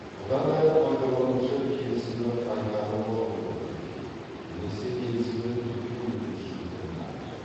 бұдан әрі пайдаланушы келісімді қайтарып алуды тіркеу немесе келісімді тіркеу өтінішін түрін таңдайды